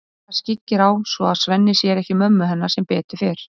Klara skyggir á svo að Svenni sér ekki mömmu hennar sem betur fer.